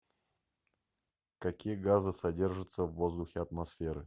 какие газы содержатся в воздухе атмосферы